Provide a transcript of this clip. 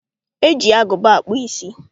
Eji agụba akpụ ísí.